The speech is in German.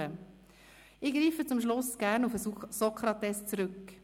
Ich greife zum Schluss gerne auf Sokrates zurück.